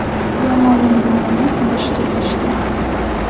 Jamoa yangi murabbiy qidirishga kirishgan.